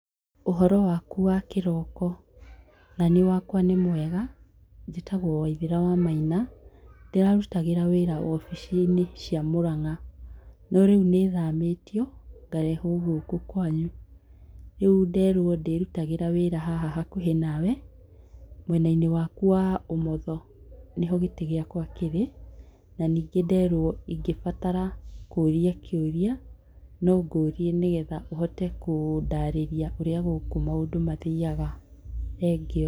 Ũhoro waku wa kĩroko? Naniĩ wakwa nĩ mwega. Njĩtagwo Waithĩra wa Maina ndĩrarutagĩra wĩra obici-inĩ cia Mũrang'a, no rĩu nĩ thamĩtio ngarehwo gũkũ kwanyu, rĩu nderwo ndĩrutagĩra wĩra haha hakuhĩ na we, mwena-inĩ waku wa ũmotho nĩ ho gĩtĩ gĩakwa kĩrĩ. Na ningĩ nderwo ingĩbatara kũũria kiũria no ngũrie nĩgetha ũhote kũndarĩria ũrĩa gũkũ maũndũ mathiyaga. Thengiũ.